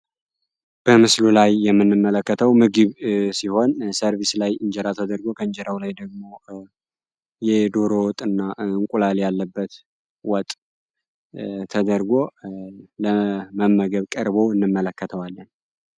በምስሉ ላይ የምንመለከተው ምግብ ሲሆን ሰርቢስ ላይ እንጀራ ተደርጎ ከእንጀራው ላይ ደግሞ የዶሮ ወጥ እና እንቁላል ያለበት ወጥ ተደርጎ ለመመገብ ቀርቦ እንመለከተዋለን።